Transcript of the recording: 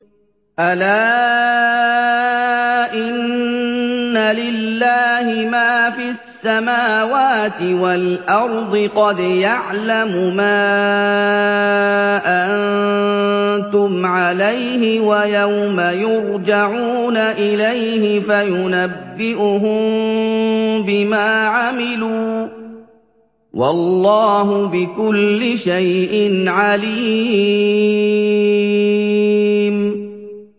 أَلَا إِنَّ لِلَّهِ مَا فِي السَّمَاوَاتِ وَالْأَرْضِ ۖ قَدْ يَعْلَمُ مَا أَنتُمْ عَلَيْهِ وَيَوْمَ يُرْجَعُونَ إِلَيْهِ فَيُنَبِّئُهُم بِمَا عَمِلُوا ۗ وَاللَّهُ بِكُلِّ شَيْءٍ عَلِيمٌ